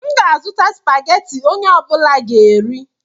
M ga-azụta Spageti onye ọbula ga-eri